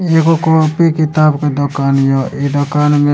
इ एगो कॉपी किताब के दुकान हियो इ दुकान मे --